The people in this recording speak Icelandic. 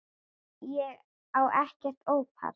Ég á ekkert ópal